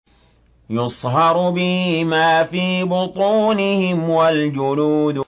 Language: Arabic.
يُصْهَرُ بِهِ مَا فِي بُطُونِهِمْ وَالْجُلُودُ